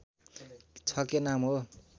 छ के नाम हो